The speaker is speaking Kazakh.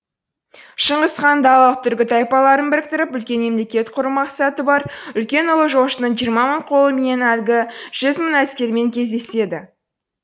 шыңғыс ханның далалық түркі тайпаларын біріктіріп үлкен мемлекет құру мақсаты бар үлкен ұлы жошының жиырма мың қолыменен әлгі жүз мың әскермен кездеседі